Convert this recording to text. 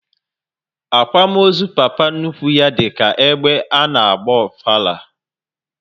Akwamozu papa nnukwu ha dịka egbe ana agba ofala